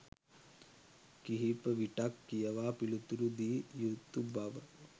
කිහිපවිටක් කියවා පිළිතුරු දිය යුතු බව